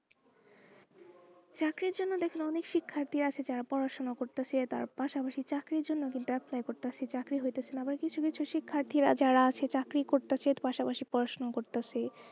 চাকরির জন্য দেখুন অনেক শিক্ষার্থী আছে যারা পড়াশুনো করতাছে তার পাশাপাশি চাকরির জন্য কিন্তু apply করতাছে চাকরি হইতাছেনা আবার কিছু কিছু শিক্ষাথীরা যারা আছে চাকরি করতাছে পাশাপাশি পড়াশোনাও করতাছে।